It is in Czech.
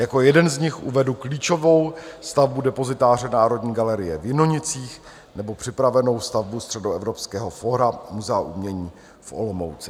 Jako jeden z nich uvedu klíčovou stavbu depozitáře Národní galerie v Jinonicích nebo připravenou stavbu Středoevropského fóra Muzea umění v Olomouci.